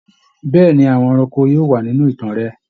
Bẹ̀ẹ́ni, àwọn ẹranko yóò wà nínú ìtàn rẹ.